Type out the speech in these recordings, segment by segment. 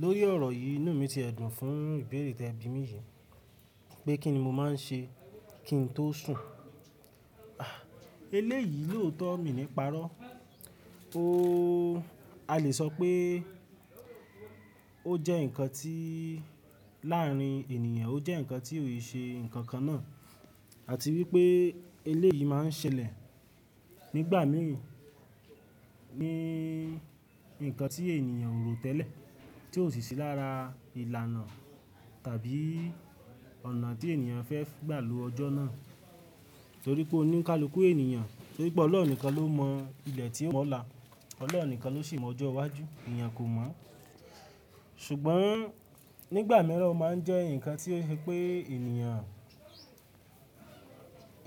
Lórí ọ̀rọ̀ yìí, inú mi ti ẹ̀ dùn fún ìbéèrè tí ẹbí mi yìí, pé kí ni mo máa ń ṣe kí n tó sùn. Ahh Eléyìí lòótọ̀ mi níparọ́. O-- a lè sọ pé ó jẹ́ nǹkan tí láàrín ènìyàn, ó jẹ́ nǹkan tí ò ṣe nǹkan kan náà. Àti wípé eléyìí máa ń ṣẹlẹ̀ nígbà mìí, ní nǹkan tí ènìyàn ò rò tẹ́lẹ̀, tí ò sì sí lára ìlànà tàbí ọ̀nà tí ènìyàn fẹ́ gbà lu ọjọ́ náà. Nítorí pé oníkálukú ènìyàn, nítorí pé ọlọ́run nìkan ló mọ ilẹ̀ tí ó moo la, ọlọ́run nìkan ló ṣi mọ̀ ọjọ́ iwájú, ènìyàn kò mọ́. Ṣùgbọ́n nígbà mìíràn ó máa ń jẹ́ nǹkan tí pé ènìyàn,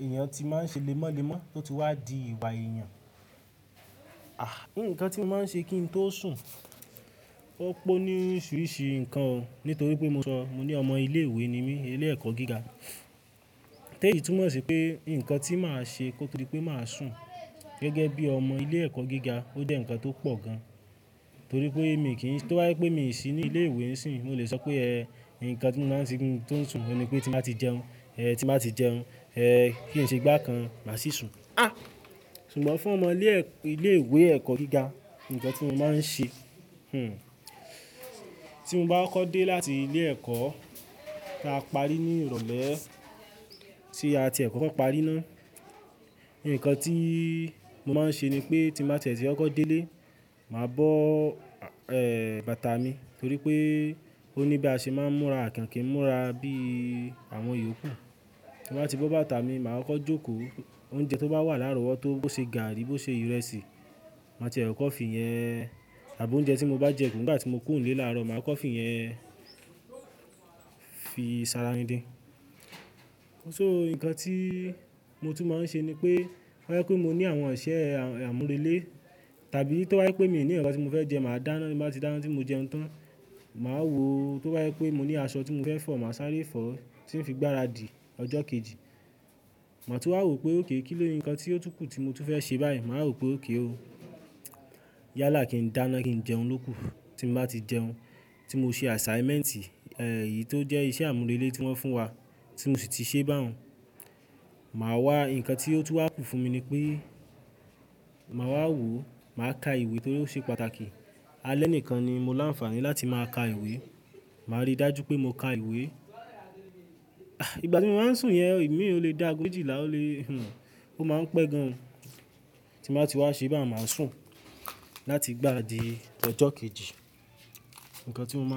ènìyàn ti máa ń ṣe lémọ́lémọ́ tó ti wá di ìwà èèyàn. Àh! Nǹkan tí mo máa ń ṣe kí n tó sùn, ó pọ̀ ní oríṣìíríṣìí nǹkan, nítorí pé, mo ní ọmọ ilé ìwé ni mí, ilé ẹ̀kọ́ gíga. Tẹ́ èyí tùmọ̀ sí pé nǹkan tí màá ṣe kó tó dí pé màá sùn gẹ́gẹ́ bí ọmọ ilé ẹ̀kọ́ gíga ó jẹ́ nǹkan tó pọ̀ gan. Torí pé èmi kì í, tí obá je wí pé mi ò sí ní ilé ìwé níìsín, mo lè sọ pé ẹ, nǹkan tí mo máa ń ṣe kí n tó sùn, mo ní pé tí màá ti jẹun, ẹ, tí màá ti jẹun, ẹ, kí n ṣe igba kan, màá sì sùn. Àh! Ṣùgbọ́n fún ọmọ ilé ẹ̀, ilé ìwé ẹ̀kọ́ gíga, nǹkan tí mo máa ń ṣe, hmm, tí mo bá kokọ́ dé láti ilé ẹ̀kọ́, tí a parí ní ìrọ̀lẹ́, tí a ti ẹ̀ kokọ́ kan parí ná. Nǹkan tí mo máa ń ṣe ni pé tí màá tẹ̀tẹ̀ sí ọkọ̀ délé, màá bọ́, ẹ, bàtà mi, nítorí pé ó ní bí a ṣe máa ń múra, àkìnkìn múra bí àwọn Yorùbá. Mo bá ti bọ́ bàtà mi, màá kọ́ jókòó. Oúnjẹ tó bá wà láàrọ̀ wọ́, tó bó ṣe gààrí, bó ṣe ìrẹsì, màá tiẹ kokọ́ fì yẹn àbí oúnjẹ tí mo bá jẹ kù, nígbà tí mo kùnlé láàrọ̀, màá kokọ́ fì yẹn fi sará rin dí. So nǹkan tí mo tún máa ń ṣe ni pé, to ba je wí pé mo ní àwọn iṣẹ́ àmúrelé tàbí to ba je wí pé mi ò ní ǹkankan tí mo fẹ́ jẹ, màá dáná, tí màá ti dáná tí mo jẹun tán, màá wò ó. Tó bá wí pé mo ní aṣọ tí mo fẹ́ fọ̀, màá sáré fọ̀ ó tí ń fi gbáradì ọjọ́ kejì. Màá tún máa wò ó pé okay kí ní nǹkan tí ó túkù tí mo tún fẹ́ ṣe báyìí, màá rò ó pé okay ó. Yálà kí n dáná kí n jẹun lóko. Tí mo bá ti jẹun, tí mo ṣe assignment, ẹ, èyí tó jẹ́ iṣẹ́ àmúrelé tí wọ́n fún wa tí mo sì ti ṣe báhàn, màá wá nǹkan tí ó tún wà kù fún mi ni pé màá wá wò ó, màá ka ìwé torí ó ṣe pàtàkì. Alẹ́ nìkan ni mo láǹfààní láti máa ka ìwé. Màá rí dájú pé mo ka ìwé. Àh! Ìgbà tí mo máa ń sùn yẹn, ìmi ò le de aago mejilàá le, hmm, ó máa ń pẹ́ gan. Tí màá ti wá ṣe bá, màá sùn láti gbá ara di ọjọ́ kejì. Nǹkan tí mo máa ń.